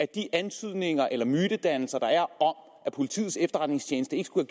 de antydninger eller mytedannelser der er om at politiets efterretningstjeneste ikke skulle